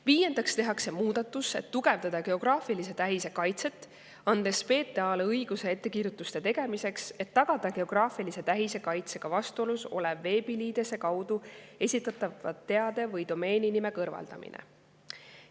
Viiendaks tehakse muudatus, et tugevdada geograafilise tähise kaitset, andes PTA‑le õiguse ettekirjutuste tegemiseks, et tagada geograafilise tähise kaitsega vastuolus oleva veebiliidese kaudu esitatava teabe või domeeninime kõrvaldamine.